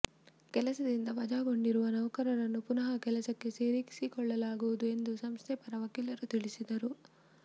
ಕೆಲಸದಿಂದ ವಜಾಗೊಂಡಿರುವ ನೌಕರರನ್ನು ಪುನಃ ಕೆಲಸಕ್ಕೆ ಸೇರಿಸಿಕೊಳ್ಳಲಾಗುವುದು ಎಂದು ಸಂಸ್ಥೆ ಪರ ವಕೀಲರು ತಿಳಿಸಿದರು